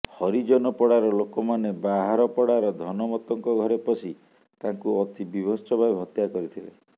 ହରିଜନପଡ଼ାର ଲୋକମାନେ ବାହାରପଡ଼ାର ଧନମତଙ୍କ ଘରେ ପଶି ତାଙ୍କୁ ଅତି ବୀଭତ୍ସ ଭାବେ ହତ୍ୟା କରିଥିଲେ